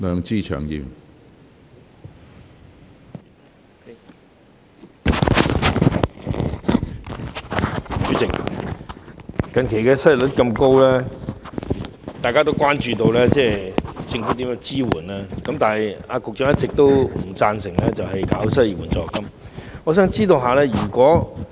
主席，近期失業率這麼高，大家都關注政府如何提供支援，但局長一直不贊成推出失業援助金。